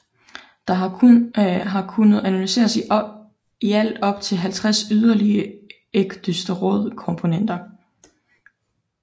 Der har kunnet analyseres i alt op til 50 yderligere ecdysteroidkomponenter